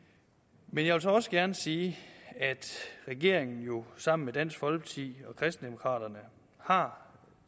men jeg vil så også gerne sige at regeringen jo sammen med dansk folkeparti og kristendemokraterne har